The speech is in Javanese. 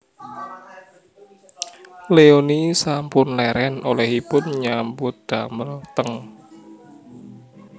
Leony sampun leren olehipun nyambut damel teng